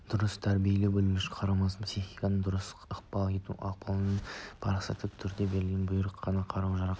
дұрыс тәрбиелей білушілік қарамағындағылардың психикасына дұрыс ықпал ете алушылық пен парасатты түрде берілген бұйрық қана қару-жарақ